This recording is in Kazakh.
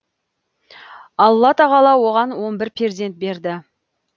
алла тағала оған он бір перзент берді